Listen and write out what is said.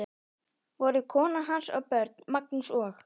Voru kona hans og börn, Magnús og